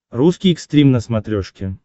русский экстрим на смотрешке